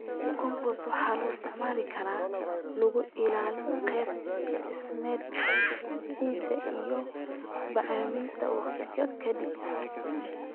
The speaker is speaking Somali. Compost waxaa loo isticmaali karaa in lagu ilaaliyo qaab dhismeedka ciidda iyo bacriminta waqti ka dib.